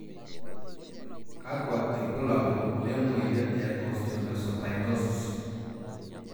Kakwa ibulabul lemoyian e Osteomesopyknosis?